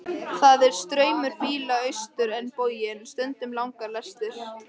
Það er straumur bíla austur á bóginn, stundum langar lestir.